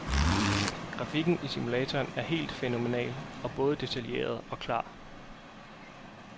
Grafikken i simulatoren er helt fænomenal og både detaljeret og klar.